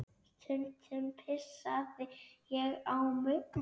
Stundum pissaði ég á mig.